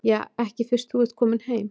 Ja, ekki fyrst þú ert kominn heim.